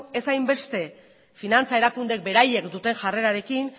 ez hainbeste finantza erakundeek beraiek duten jarrerarekin